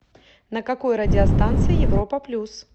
на какой радиостанции европа плюс